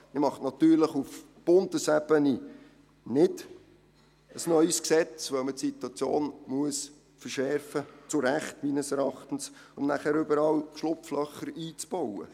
Man macht auf Bundesebene kein neues Gesetz, weil man die Situation verschärfen muss – zu Recht, meines Erachtens –, um danach überall Schlupflöcher einzubauen.